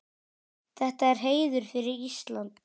Þetta er heiður fyrir Ísland.